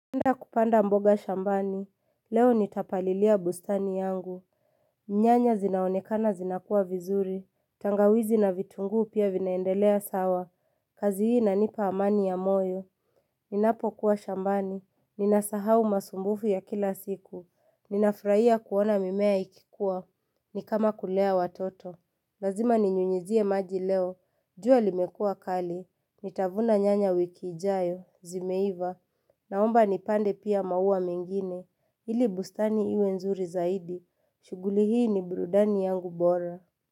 Nenda kupanda mboga shambani, leo nitapalilia bustani yangu, nyanya zinaonekana zinakua vizuri, tangawizi na vitunguu pia vinaendelea sawa, kazi hii nanipa amani ya moyo, ninapokuwa shambani, ninasahau masumbufu ya kila siku, ninafraia kuona mimea ikikua, nikama kulea watoto, lazima ninyunyizie maji leo, jua limekua kali, nitavuna nyanya wiki ijaayo, zimeiva, naomba nipande pia maua mengine ili bustani iwe nzuri zaidi shuguli hii ni burudani yangu bora.